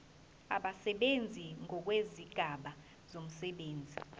abasebenzi ngokwezigaba zomsebenzi